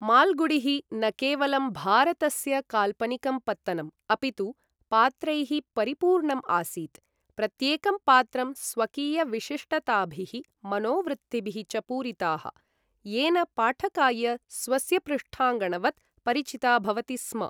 माल्गुडिः न केवलं भारतस्य काल्पनिकं पत्तनम्, अपितु पात्रैः परिपूर्णम् आसीत्, प्रत्येकं पात्रं स्वकीयविशिष्टताभिः, मनोवृत्तिभिः च पूरिताः, येन पाठकाय स्वस्य पृष्ठाङ्गणवत् परिचिता भवति स्म।